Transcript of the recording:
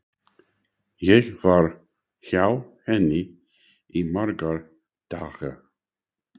Ég var hjá henni í marga daga.